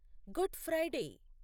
good Friday